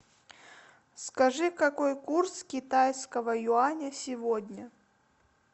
скажи какой курс китайского юаня сегодня